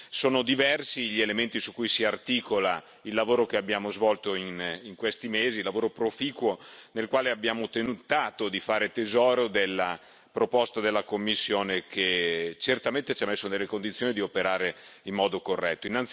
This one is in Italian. Sono diversi gli elementi su cui si articola il lavoro che abbiamo svolto in questi mesi, lavoro proficuo nel quale abbiamo tentato di fare tesoro della proposta della Commissione, che certamente ci ha messo nelle condizioni di operare in modo corretto.